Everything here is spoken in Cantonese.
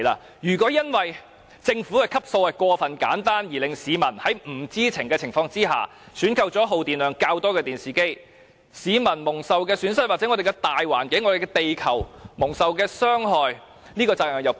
因此，如果政府的分級過於簡單，以致市民在不知情的情況下選購了耗電量較多的電視機，致令市民、我們的環境和地球蒙受損失和傷害，試問責任誰屬？